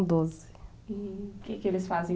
E o que eles fazem?